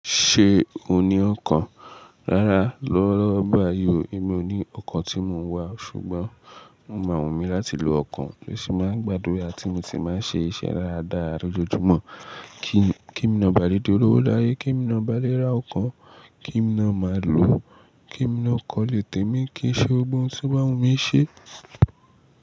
Ṣé o ní ọkàn? Rárá, lọ́wọ́lọ́wọ́ báyìí, èmi ò ní ọkàń tí mò ń wá, ṣùgbọ́n mo mọ àwọn mi láti lo ọkàn, bí mo ṣe máa ń gbàdúrà tí mo sì máa ń ṣe iṣẹ́ rádaà lójoojúmọ́. Kiń Kémí naáa bá lé dí olówó láyé, kemi náa bá léra ọkọ́, kémi náa màlò ó, kémí náa kọ́lé témi, kí n ṣe gbógbò ohun tó bá wún mi ṣe.